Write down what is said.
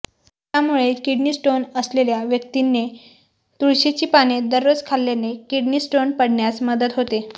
त्यामुळे kidney stone असलेल्या व्यक्तींने तुळशीची पाने दररोज खाल्याने किडनी स्टोन पडण्यास मदत होते